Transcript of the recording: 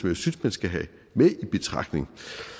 jeg synes man skal have med i betragtning